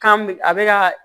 Kan bɛ a bɛ ka